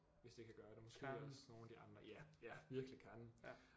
Hvis det kan gøre det måske også nogle af de andre ja ja virkelig Karen